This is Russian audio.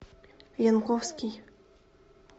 янковский